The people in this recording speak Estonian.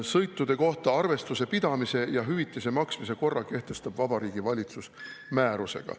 Sõitude kohta arvestuse pidamise ja hüvitise maksmise korra kehtestab Vabariigi Valitsus määrusega.